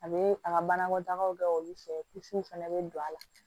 A bɛ a ka banakɔtagaw kɛ olu fɛ kusiw fana bɛ don a la